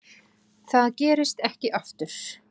Það gerist ekki aftur.